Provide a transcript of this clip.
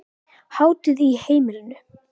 Hátíð á heimilinu